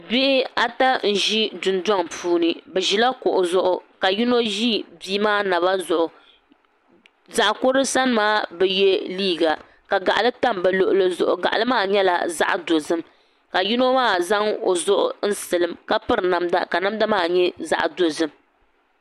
Bihi ata n-ʒi dundɔŋ puuni bɛ ʒila kuɣu zuɣu ka yino ʒi bia maa naba zuɣu zaɣ’ kurili sani maa bi ye liiga ka gaɣili tam bɛ luɣili zuɣu gaɣili maa nyɛla zaɣ’ dozim ka yino maa zaŋ o zuɣu n-silim ka piri namda ka namda maa nyɛ zaɣ’ dozim